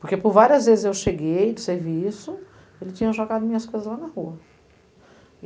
Porque por várias vezes eu cheguei do serviço, ele tinha jogado minhas coisas lá na rua.